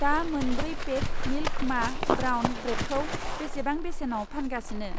दा मोनब्रै pack milk मा ब्राउन ब्रेडखौ बेसेबां बेसेनाव फानगासिनो?